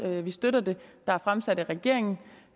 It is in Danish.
vi støtter det der er fremsat af regeringen